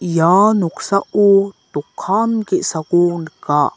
ia noksao dokan ge·sako nika.